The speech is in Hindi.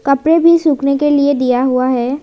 कपड़े भी सूखने के लिए दिया हुआ है।